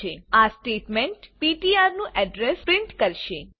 000148 000145 આ statement PTR નું address print કરશે